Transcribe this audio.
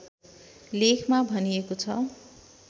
लेखमा भनिएको छ